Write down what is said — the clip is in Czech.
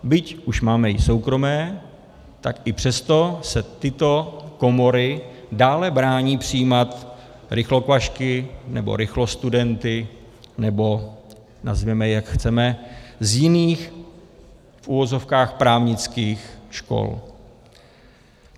Byť už máme i soukromé, tak i přesto se tyto komory dále brání přijímat rychlokvašky nebo rychlostudenty, nebo nazvěme je, jak chceme, z jiných v uvozovkách právnických škol.